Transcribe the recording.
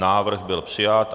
Návrh byl přijat.